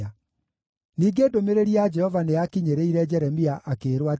Ningĩ ndũmĩrĩri ya Jehova nĩyakinyĩrĩire Jeremia akĩĩrwo atĩrĩ,